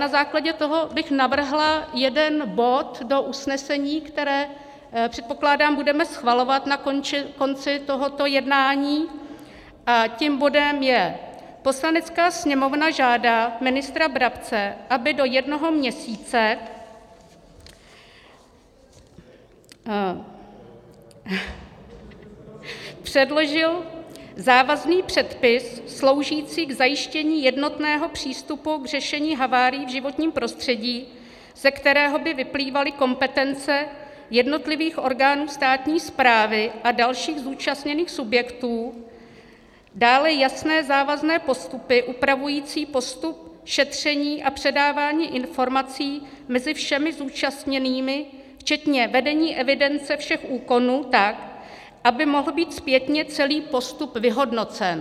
Na základě toho bych navrhla jeden bod do usnesení, které, předpokládám, budeme schvalovat na konci tohoto jednání, a tím bodem je: Poslanecká sněmovna žádá ministra Brabce, aby do jednoho měsíce předložil závazný předpis sloužící k zajištění jednotného přístupu k řešení havárií v životním prostředí, ze kterého by vyplývaly kompetence jednotlivých orgánů státní správy a dalších zúčastněných subjektů, dále jasné závazné postupy upravující postup šetření a předávání informací mezi všemi zúčastněnými včetně vedení evidence všech úkonů tak, aby mohl být zpětně celý postup vyhodnocen.